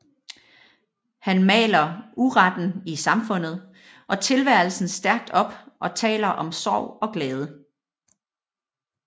Han maler uretten i samfundet og tilværelsen stærkt op og taler om sorg og glæde